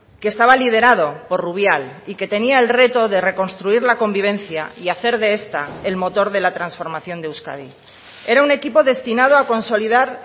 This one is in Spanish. que estaba liderado por rubial y que tenía el reto de reconstruir la convivencia y hacer de esta el motor de la transformación de euskadi era un equipo destinado a consolidar